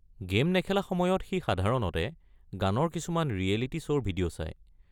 Game নেখেলা সময়ত সি সাধাৰণতে গানৰ কিছুমান ৰিয়েলিটী শ্ব'ৰ ভিডিঅ' চায়।